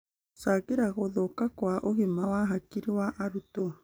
gũcangĩra gũthũka kwa ũgima wa hakiri wa arutwo.